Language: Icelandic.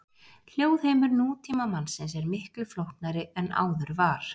Hljóðheimur nútímamannsins er miklu flóknari en áður var.